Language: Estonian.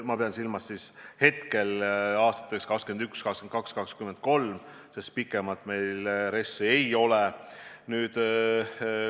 Ma pean silmas aastaid 2021, 2022 ja 2023, sest pikemaks perioodiks meil RES-i ei ole.